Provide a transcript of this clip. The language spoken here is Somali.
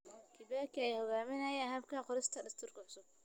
Kibaki ayaa hogaaminayay habka qorista dastuur cusub.